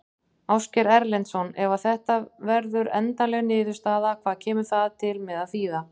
Ásgeir Erlendsson: Ef að þetta verður endanleg niðurstaða, hvað kemur það til með að þýða?